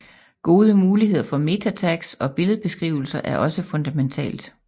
Gode muligheder for MetaTags og billedbeskrivelser er også fundamentalt